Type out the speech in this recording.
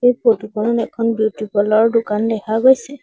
এই ফটো খনত এখন বিউটি পাৰ্লাৰ ৰ দোকান দেখা গৈছে।